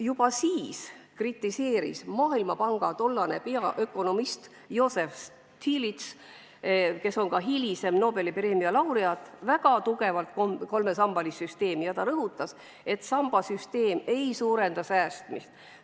Juba siis kritiseeris Maailmapanga tollane peaökonomist Joseph Stiglitz, hilisem Nobeli preemia laureaat, väga tugevalt kolme samba süsteemi ja rõhutas, et sambasüsteem ei suurenda säästmist.